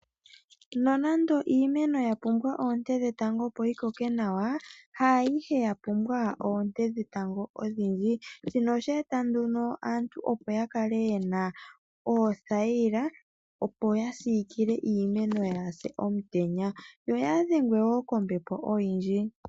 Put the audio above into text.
Nonando iimeno yapumbwa oonte dhetango opo yikoke nawa, haayihe yapumbwa oonte dhetango odhindji. Shino oshe eta nduno aantu opo yakale yena oothayila, opo ya siikile iimeno yaapye komutenya, yo kaayi dhengwe wo kombepo oyindji.